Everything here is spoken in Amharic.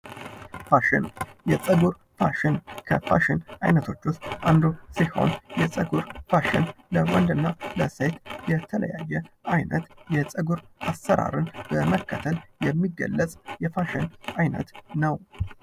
ፋሽኑ የፀጉር ፋሽን ከፋሽን ዓይነቶች ውስጥ አንዱ ሲሆን፤ የፀጉር ፋሽን ለወንድና ለሴት የተለያየ አይነት የፀጉር አሰራርን በመከተል የሚገለጽ የፋሽን ዓይነት ነው።